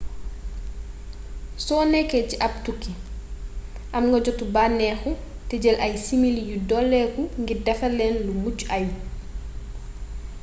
so nekkee ci ab tukki am nga jotu bànneexu te jël ay simili yu doleeku ngir defar lenn lu mucc ayub